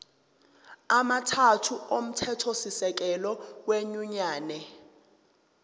amathathu omthethosisekelo wenyunyane